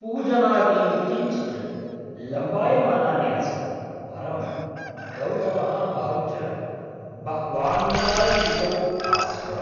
पूजनादीनि किञ्चिद् लम्बायमनानि आसन्, परं गौतमः अहं च बह्वानन्दान्वितौ आस्व।